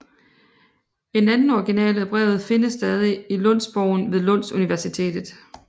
En anden original af brevet findes stadig i Lundsbogen ved Lunds Universitetet